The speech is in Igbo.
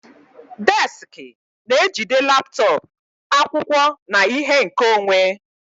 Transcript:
Desiki na-ejide laptọọpụ, akwụkwọ, na ihe nkeonwe.